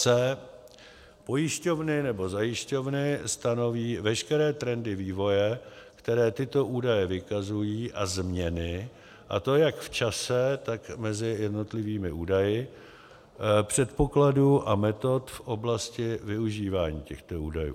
c) pojišťovny nebo zajišťovny stanoví veškeré trendy vývoje, které tyto údaje vykazují, a změny - a to jak v čase, tak mezi jednotlivými údaji - předpokladů a metod v oblasti využívání těchto údajů;